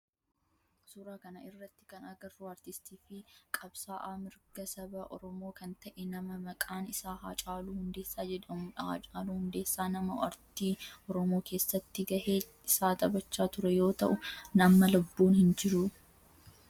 Suuraa kana irratti kan agarru aartistii fi qabsa'aa mirga saba oromoo kan ta'e nama maqaan isaa Haacaaluu Hundeessaa jedhamudha. Haacaaluu Hundeessaa nama aartii oromoo keessatti gahee isaa taphachaa ture yoo ta'u amma lubbuudhan hin jiru.